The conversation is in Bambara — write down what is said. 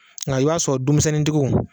Ŋa i b'a sɔrɔ dumisɛnnintigiw